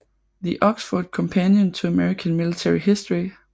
The Oxford Companion to American Military History